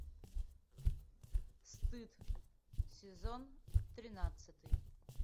стыд сезон тринадцатый